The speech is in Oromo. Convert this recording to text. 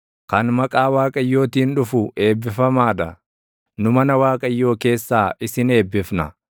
Kan maqaa Waaqayyootiin dhufu eebbifamaa dha. Nu mana Waaqayyoo keessaa isin eebbifna.